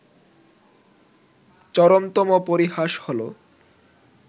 চরমতম পরিহাস হলো